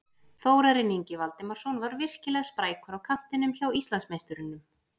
Þórarinn Ingi Valdimarsson var virkilega sprækur á kantinum hjá Íslandsmeisturunum.